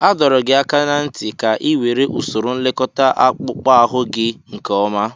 A dọrọ gị aka ná ntị ka ị were usoro nlekọta akpụkpọ ahụ gị nke ọma!